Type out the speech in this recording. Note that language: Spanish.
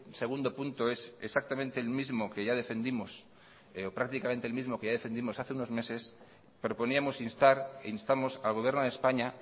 segundo punto es exactamente el mismo que ya defendimos hace unos meses proponíamos instamos al gobierno de españa